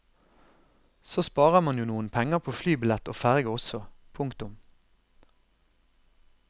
Så sparer man jo noen penger på flybillett og ferge også. punktum